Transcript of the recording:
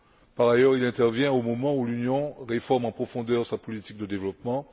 Par ailleurs, il intervient au moment où l'Union réforme en profondeur sa politique de développement.